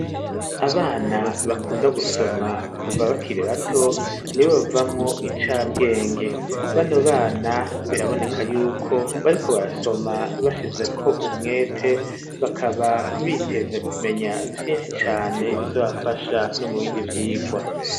Abana bakunda gusoma, kuva bakire bato ,nibo bavamwo incabwenge, bano bana biraboneka yuko bariko basoma bashize ko umwete, bakaba biteze kumenya vyinshi cane ,bizobafasha no mu bindi vyigwa.